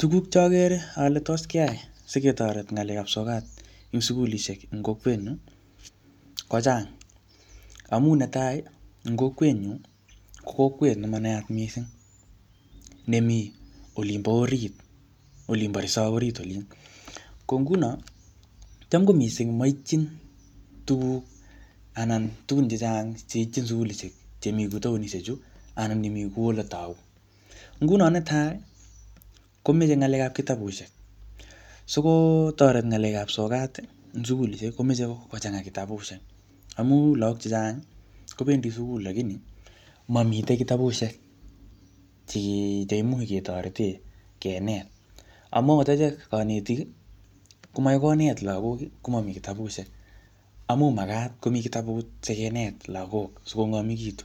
Tuguk che akere, ale tos kiyai siketoret ng'alekap sokat en sukulishek en kokwet nyuu, kochang. Amu netai, en kokwet nyuu, ko kokwet nemanaat missing, nemii olinpo orit, olinpo rispo orit olin. Ko nguno, cham ko missing maitchin tuguk, anan tugun chechang cheitchin sukulishek chemii kuu taonishek chu, anan yemii kou ole togu. Nguno netai, komeche ng'alekap kitabusiek. Sikotoret ng'alekap sokat en sukulishek, komeche kochang'a kitabusiek. Amuu lagok chechang, kobendi sukul lakini mamite kitabusiek che imuch ketorete kenet. Amu angot achek kanetik, komakoi konet komamii kitabusiek, amu magat komii kitaut sikenet lagok, sikongomekitu.